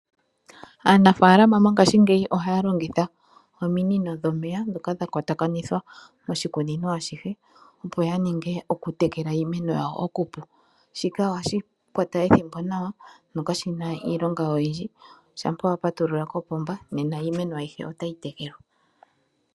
Aanafaalama mongashingeyi ohaya longitha ominino dhomeya ndhika dhakwatanithwa noshikunino ashihe . Opo yaninge okutekela uumeno yawo okupu . Shika ohashi kwata ethimbo nawa nokashina iilonga oyindji shampa wapatulula kokapomba Nena uumeno ayihe otayi tekelwa.